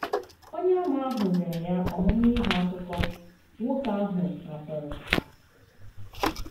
Ònyèàmà ahụ nyere ya ọmụmụ̀ ìhè àkùkọ̀, nwokè ahụ nakwèrè.